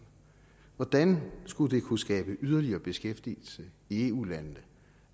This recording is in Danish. hvordan skulle det kunne skabe yderligere beskæftigelse i eu landene